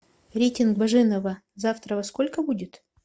рейтинг баженова завтра во сколько будет